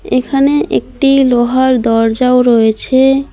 এখানে একটি লোহার দরজাও রয়েছে।